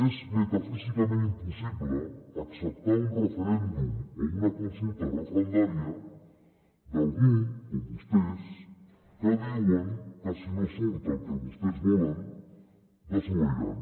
és metafísicament impossible acceptar un referèndum o una consulta referendària d’algú com vostès que diuen que si no surt el que vostès volen desobeiran